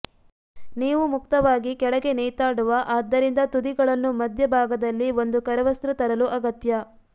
ನೀವು ಮುಕ್ತವಾಗಿ ಕೆಳಗೆ ನೇತಾಡುವ ಆದ್ದರಿಂದ ತುದಿಗಳನ್ನು ಮಧ್ಯಭಾಗದಲ್ಲಿ ಒಂದು ಕರವಸ್ತ್ರ ತರಲು ಅಗತ್ಯ